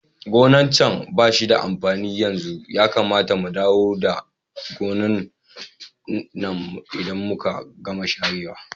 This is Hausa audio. Gonan can bashi da amfani yanzu, Yakamata mu dawo da gonan nan idan muka gama share wa.